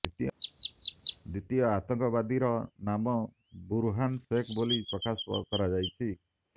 ଦ୍ବିତୀୟ ଆତଙ୍କବାଦୀର ନାମ ବୁରହାନ ଶେଖ ବୋଲି ପ୍ରକାଶ କରାଯାଇଛି